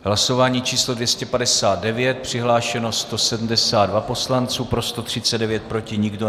Hlasování číslo 259, přihlášeno 172 poslanců, pro 139, proti nikdo.